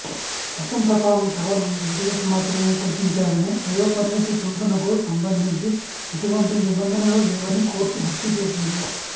చట్టం ప్రకారం కేవలం రిజర్వేషన్ మాత్రమే కల్పించారని వయోపరిమితి పెంపునకు సంబంధించి ఎటువంటి నిబంధనలు లేవని కోర్టు గుర్తుచేసింది